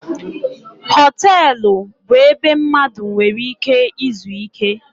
Họtelụ bụ ebe mmadụ nwere ike izu ike.